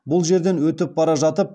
бұл жерден өтіп бара жатып